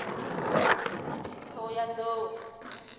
ṱhohoyanḓou